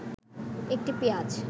১টি পেঁয়াজ